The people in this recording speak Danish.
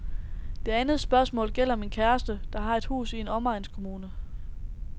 Det andet spørgsmål gælder min kæreste, der har et hus i en omegnskommune.